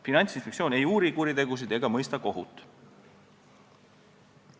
Finantsinspektsioon ei uuri kuritegusid ega mõista kohut.